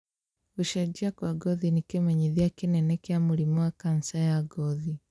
Gũcenjia kwa ngothi nĩ kĩmenyithia kĩnene kĩa mũrimũ wa kanja ya ngothi